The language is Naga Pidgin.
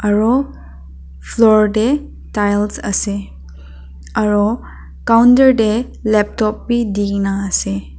aru floor te tiles ase aru counter te laptop bi dikaena ase.